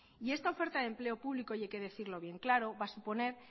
y esta oferta de empleo público y hay que decirlo bien claro va a suponer